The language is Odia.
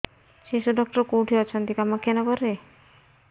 ଶିଶୁ ଡକ୍ଟର କୋଉଠି ଅଛନ୍ତି କାମାକ୍ଷାନଗରରେ